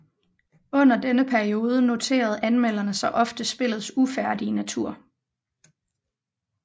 Under denne periode noterede anmelderne sig ofte spillets ufærdige natur